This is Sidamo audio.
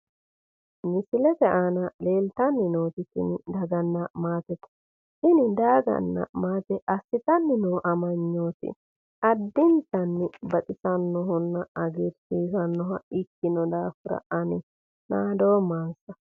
Misilete aana leeltanni nooti tini daganna maatete. Tini daganna maate assitanni noo amanyooti addintanni baxissannonna hagiirsiisannoha ikkino daafira ani nadoommansa.